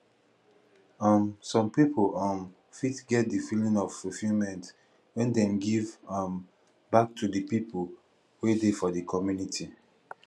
um some pipo um fit get di feeling of fulfillment when dem give um back to di people wey dey for di community